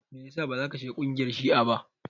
Me yasa bazaka shiga kungiyar shi'a ba?